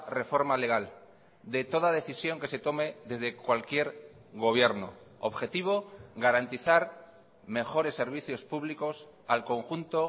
reforma legal de toda decisión que se tome desde cualquier gobierno objetivo garantizar mejores servicios públicos al conjunto